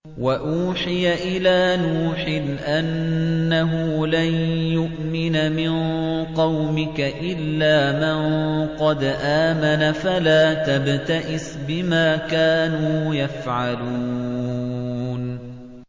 وَأُوحِيَ إِلَىٰ نُوحٍ أَنَّهُ لَن يُؤْمِنَ مِن قَوْمِكَ إِلَّا مَن قَدْ آمَنَ فَلَا تَبْتَئِسْ بِمَا كَانُوا يَفْعَلُونَ